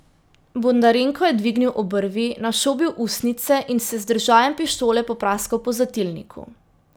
Bondarenko je dvignil obrvi, našobil ustnice in se z držajem pištole popraskal po zatilniku.